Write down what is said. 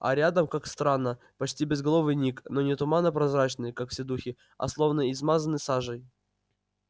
а рядом как странно почти безголовый ник но не туманно-прозрачный как все духи а словно измазанный сажей